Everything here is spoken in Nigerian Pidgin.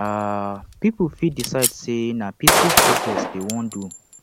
um pipo fit decide say na peaceful protest dem won do